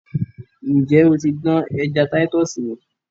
Ǹjẹ́ o ti dán ẹja Táítọ́ọ̀sì wò?